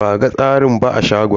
Ba a ga tsirin ba a shagon.